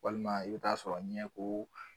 Walima i bɛ taa sɔrɔ ɲɛko